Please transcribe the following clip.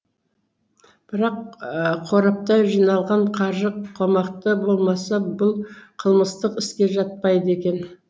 бірақ қорапта жиналған қаржы қомақты болмаса бұл қылмыстық іске жатпайды екен